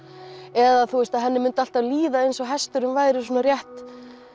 eða henni myndi alltaf líða eins og hesturinn væri rétt